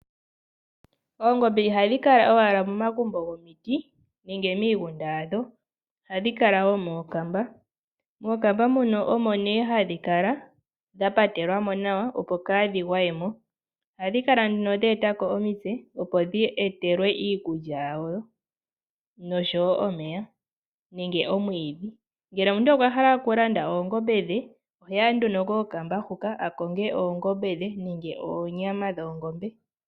Oongombe ihadhi kala owala momagumbo gomiti nenge miigunda yadho ohadhi kala wo meekamba. Mookamba muno omo nee hadhi kala dha patelwa mo nawa, opo kaadhi gwaemo. Ohadhi kala dheeta ko omitse, opo ndhi etelwa iikulya yadho noshowo omeya nenge omwiidhi. Ngele omuntu okwa hala oongombe dhe oheya nduno kookamba huka akonge oongombe dhe nenge onyama dhoongombe.